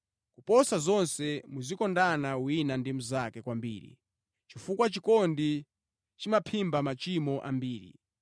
Koposa zonse muzikondana wina ndi mnzake kwambiri, chifukwa chikondi chimaphimba machimo ambiri.